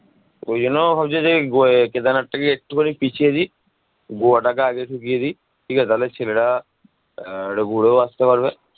ওই জন্য ভাবছি যে গোয়া যাই, কেদারনাথটাকে একটুখানি পিছিয়ে দি গোয়াটাকে আগে ঢুকিয়ে দি। ঠিক আছে তাহলে ছেলেরা আহ একটু ঘুরেও আস্তে পারবে